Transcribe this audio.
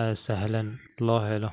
ee sahlan loo helo.